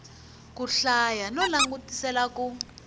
ku hlaya no langutisela ku